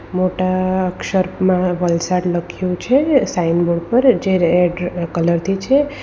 મોટા અક્ષરમાં વલસાડ લખ્યું છે સાઈન બોર્ડ પર જે રેડ કલર થી છે.